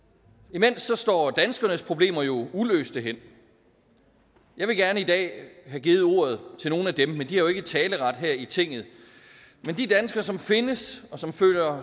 imens står danskernes problemer jo uløste hen jeg ville gerne i dag have givet ordet til nogle af dem men de har jo ikke taleret her i tinget men de danskere som findes og som føler